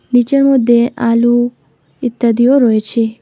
নীচের মধ্যে আলু ইত্যাদিও রয়েছে।